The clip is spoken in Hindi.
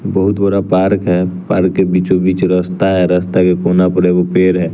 बहुत बड़ा पार्क है पार्क के बीचों बीच रस्ता है रस्ता के कोना पर एगो पेड़ है।